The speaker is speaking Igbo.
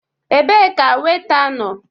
Ebee ka Weita nọọ?